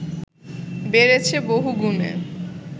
বেড়েছে বহুগুণে